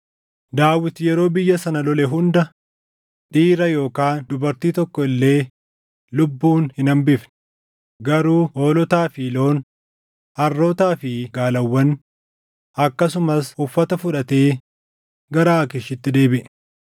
Daawit yeroo biyya sana lole hunda dhiira yookaan dubartii tokko illee lubbuun hin hambifne; garuu hoolotaa fi loon, harrootaa fi gaalawwan akkasumas uffata fudhatee gara Aakiishitti deebiʼe.